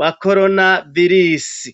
wa korona virisi.